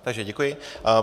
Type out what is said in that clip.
Takže děkuji.